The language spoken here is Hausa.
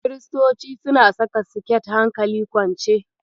Kiristoci suna saka siket hankali kwance.